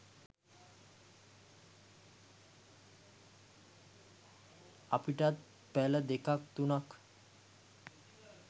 අපිටත් පැල දෙකක් තුනක්